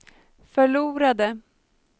förlorade